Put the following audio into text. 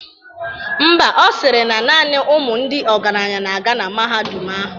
Ḿbà, Ọ sịrị na naani ụmụ ndị ọgaranya na-aga na mahadum ahụ.